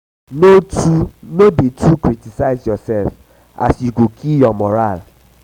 no dey too criticize um urself as e um go kill ur um moral